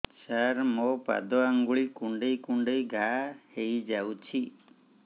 ସାର ମୋ ପାଦ ଆଙ୍ଗୁଳି କୁଣ୍ଡେଇ କୁଣ୍ଡେଇ ଘା ହେଇଯାଇଛି